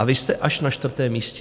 A vy jste až na čtvrtém místě.